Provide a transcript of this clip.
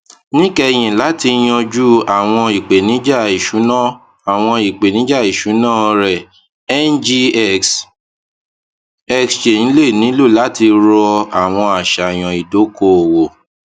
níkẹyìn láti yanjú àwọn ìpèníjà iṣuna àwọn ìpèníjà iṣuna rẹ ngx exchange le nilo lati ro awọn aṣayan idokoowo